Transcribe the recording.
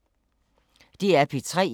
DR P3